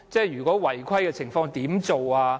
如果有違規情況，怎麼辦？